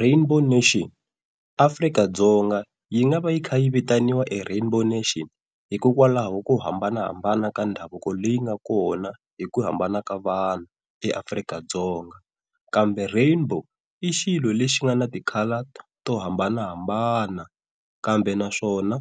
Rainbow Nation, Afrika-Dzonga yi nga va yi kha yi vitaniwa Rainbow hikokwalaho ko hambanahambana ka mindhavuko leyi nga kona hi ku hambana ka vanhu eAfrika-Dzonga. Kambe Rainbow i xilo lexi nga na tikhala to hambanahambana kambe naswona